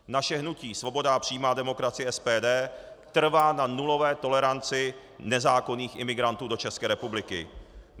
Naše hnutí Svoboda a přímá demokracie - SPD trvá na nulové toleranci nezákonných imigrantů do České republiky.